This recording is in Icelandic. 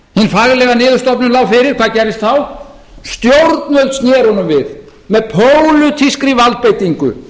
hin faglega niðurstaða lá fyrir hvað gerðist þá stjórnvöld sér honum við með pólitískri valdbeitingu